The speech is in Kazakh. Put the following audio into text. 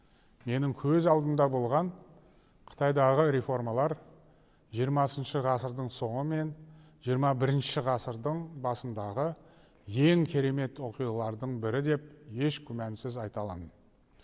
менің көз алдымда болған қытайдағы реформалар жиырмасыншы ғасырдың соңы мен жиырма бірінші ғасырдың басындағы ең керемет оқиғалардың бірі деп еш күмәнсіз айта аламын